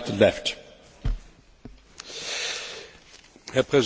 Meine Frage geht in eine ähnliche Richtung wie die von Herrn Schulz.